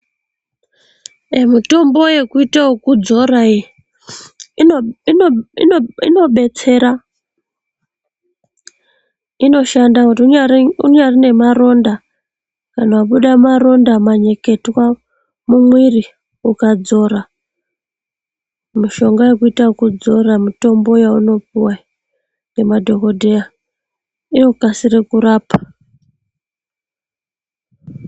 Mutombo yekuita okudzora iyi inobetsera. Inoshanda kuti unyari nemaronda, kana kubuda maronda manyeketwa mumwiri, ukadzora mushonga yekuita okudzora, mutombo yeunopuwa iyi ngemadhokodheya, inokasira kurapa.